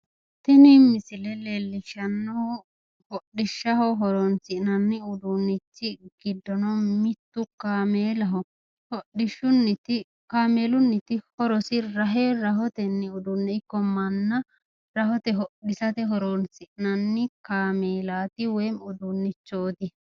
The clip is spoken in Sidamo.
Tini misile leellishshannohu hodhishshaho horoonsi'nanni uduunnichi giddono mittu kaameelaho. Kaameelunniti horosi rahe rahotenni uduunne ikko manna rohote hodhisate horoonsi'nanni kaameelaati woyi uduunnichooti.